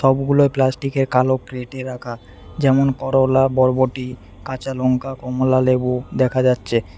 সবগুলোই প্লাস্টিক -এর কালো ট্রে -তে রাখা যেমন করলা বরবটি কাঁচালঙ্কা কমলালেবু দেখা যাচ্ছে।